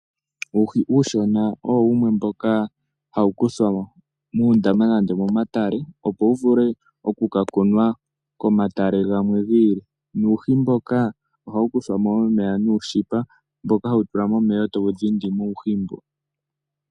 Uuhi uunshona owo wumwe mboka hawu kuthwa muundama nande momatale opo wu vule oku ka kunwa komatale gamwe gi ili, nuuhi mboka ohawu kuthwa mo momeya nuushipa mboka hawu tulwa momeya, eta wu dhindi mo uuhi mbo.